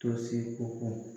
Tosi o kɔ